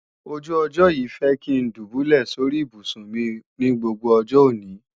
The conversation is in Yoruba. ojú ọjọ́ yìí fẹ́ kí ń dùbúlẹ̀ sóri ibùsùn mi ní gbogbo ọjọ́ òní